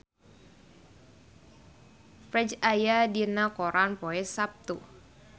Ferdge aya dina koran poe Saptu